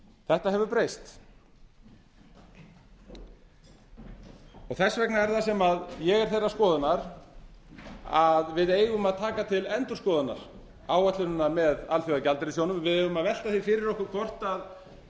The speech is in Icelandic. þetta hefur breyst þess vegna er það sem ég er þeirrar skoðunar að við eigum að taka ætla endurskoðunar áætlunina með alþjóðagjaldeyrissjóðinn við eigum að velta því fyrir okkur hvort staðan